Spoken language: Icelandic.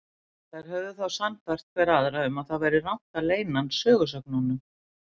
Þær höfðu þá sannfært hver aðra um að það væri rangt að leyna hann sögusögnunum.